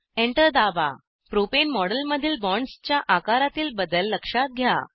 enter दाबा प्रोपेने मॉडेलमधील बॉन्डसच्या आकारातील बदल लक्षात घ्या